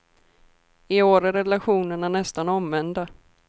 I år är relationerna nästan omvända.